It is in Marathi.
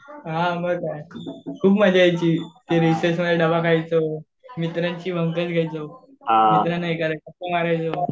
हां मग काय खूप मजा यायची. ते रिसेसमध्ये डबा खायचो. मित्रांची घ्यायचो. मित्रांना गप्पा मरायचो